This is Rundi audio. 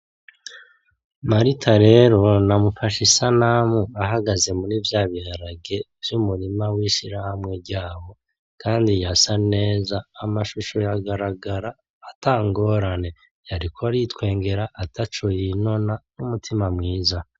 Marita rero namufashe isanamu ahagaze muri vya biharage vy'umurima w'ishirahamwe ryabo. Kandi yasa neza, amashusho yagaragara ata ngorane. Yariko aritwengera ataco yinona n'umutima mwiza.